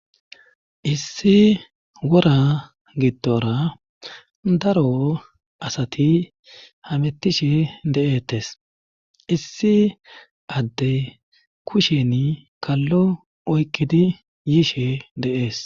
Issi wora gittora daro asati hamettishe de'etes issi adde kushen kallo oykkidi yiishe deees.